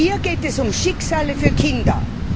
Hier geht es um Schicksale von Kindern!